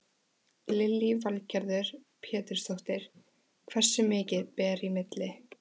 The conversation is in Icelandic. Lillý Valgerður Pétursdóttir: Hversu mikið ber í milli?